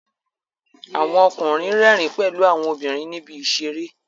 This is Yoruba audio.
Àwon okùnrin rẹ́rìn pèlu àwon obìnrìn níbi ìseré